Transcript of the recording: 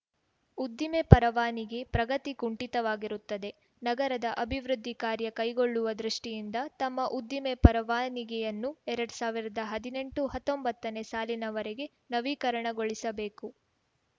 ಉದ್ದಿಮೆ ಪರವಾನಿಗೆ ಪ್ರಗತಿ ಕುಂಠಿತಾಗಿರುತ್ತದೆ ನಗರದ ಅಭಿವೃದ್ಧಿ ಕಾರ್ಯ ಕೈಗೊಳ್ಳುವ ದೃಷ್ಟಿಯಿಂದ ತಮ್ಮ ಉದ್ದಿಮೆ ಪರವಾನಿಗೆಯನ್ನು ಎರಡ್ ಸಾವಿರ್ದಾ ಹದಿನೆಂಟುಹತ್ತೊಂಬತ್ತನೇ ಸಾಲಿನವರೆಗೆ ನವೀಕರಣಗೊಳಿಸಬೇಕು